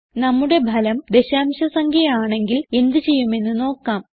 നമ്മുടെ ഫലം ദശാംശ സംഖ്യ ആണെങ്കിൽ എന്ത് ചെയ്യുമെന്ന് നോക്കാം